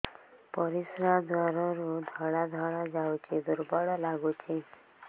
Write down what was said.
ପରିଶ୍ରା ଦ୍ୱାର ରୁ ଧଳା ଧଳା ଯାଉଚି ଦୁର୍ବଳ ଲାଗୁଚି